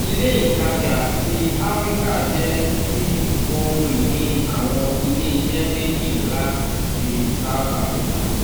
ilé ìtajà ti afirika jẹ́ ti ohun-ìní àwọn ilé-iṣẹ́ méjì ńlá ti south africa.